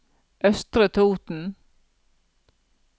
Østre Toten